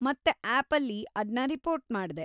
ಮತ್ತೆ ಆ್ಯಪಲ್ಲಿ ಅದ್ನ ರಿಪೋರ್ಟ್‌ ಮಾಡ್ದೆ.